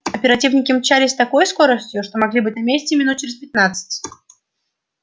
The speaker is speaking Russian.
оперативники мчались с такой скоростью что могли быть на месте минут через пятнадцать